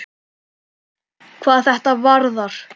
hvað þetta varðar.